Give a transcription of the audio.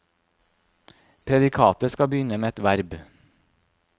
Predikatet skal begynne med et verb.